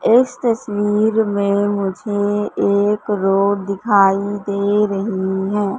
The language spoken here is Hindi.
इस तस्वीर में मुझे एक रोड दिखाई दे रही है।